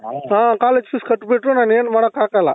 ಹ college fees ಕಟಿಬಿಟ್ರು ನಾನ್ ಏನ್ ಮಾಡಕ್ಕೆ ಆಗಲ್ಲಾ